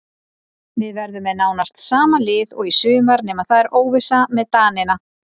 Við verðum með nánast sama lið og í sumar nema það er óvissa með Danina.